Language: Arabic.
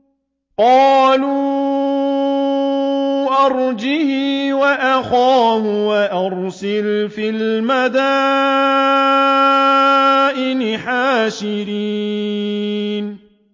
قَالُوا أَرْجِهْ وَأَخَاهُ وَأَرْسِلْ فِي الْمَدَائِنِ حَاشِرِينَ